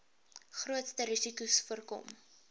grootste risikos voorkom